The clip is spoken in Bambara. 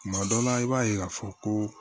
Tuma dɔ la i b'a ye k'a fɔ ko